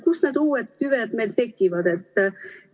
Kus need uued tüved meil tekivad?